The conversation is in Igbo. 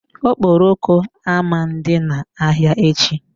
Okporoko ama dị na-ahịa echi.